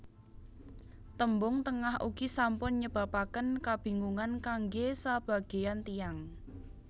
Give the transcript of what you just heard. Tembung Tengah ugi sampun nyebabaken kabingungan kanggé sabagéyan tiyang